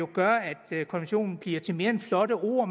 gør at konventionen bliver til mere end flotte ord